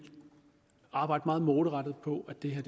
arbejde meget målrettet på at det her